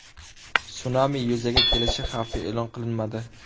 Sunami yuzaga kelishi xavfi e’lon qilinmadi.